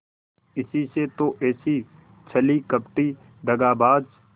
इसी से तो ऐसी छली कपटी दगाबाज